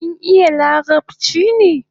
Kin iya larabchi ne?